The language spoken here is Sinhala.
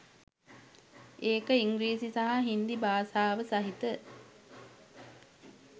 ඒක ඉංග්‍රීසි සහ හින්දි භාෂාව සහිත